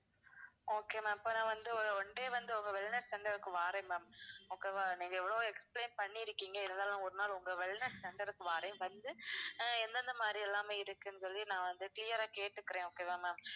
okay ma'am இப்போ நான் வந்து ஒரு one day வந்து உங்க wellness center கு வாறேன் ma'am okay வா. நீங்க எவ்ளோ explain பண்ணிருக்கீங்க இருந்தாலும் ஒரு நாள் உங்க wellness center க்கு வாறேன் வந்து ஆஹ் எந்தெந்தமாதிரி எல்லாம் இருக்குன்னு சொல்லி நான் வந்து clear ஆ கேட்டுக்கிறேன் okay வா ma'am.